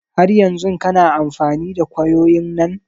Har yanzun kana amfani da kwayoyin nan?